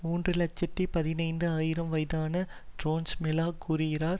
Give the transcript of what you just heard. மூன்று இலட்சத்தி பதினைந்து ஆயிரம் வயதான ஸ்ட்ரெம்லெள கூறுகிறார்